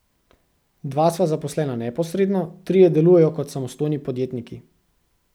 Dva sva zaposlena neposredno, trije delujejo kot samostojni podjetniki.